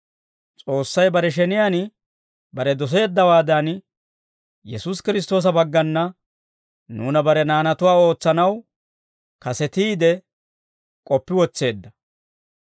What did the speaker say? S'oossay bare sheniyaan bare doseeddawaadan, Yesuusi Kiristtoosa baggana nuuna bare naanatuwaa ootsanaw kasetiide k'oppi wotseedda.